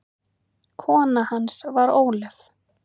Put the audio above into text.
Kona hans var Ólöf